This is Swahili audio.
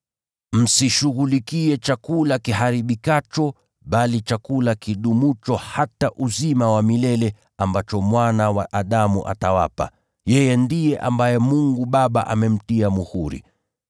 Msishughulikie chakula kiharibikacho, bali chakula kidumucho hata uzima wa milele, ambacho Mwana wa Adamu atawapa. Yeye ndiye ambaye Mungu Baba amemtia muhuri.”